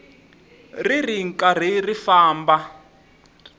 ri ri karhi ri famba